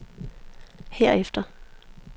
herefter